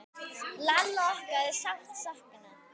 Lalla okkar er sárt saknað.